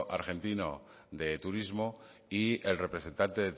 argentino de turismo y el representante